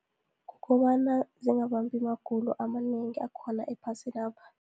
Kubana zingabambi magulo amanengi akhona ephasinapha.